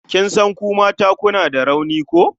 Kin san ku mata kuna da rauni ko?